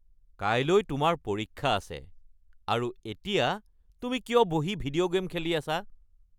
কাইলৈ তোমাৰ পৰীক্ষা আছে আৰু এতিয়া তুমি কিয় বহি ভিডিঅ’ গে'ম খেলি আছা?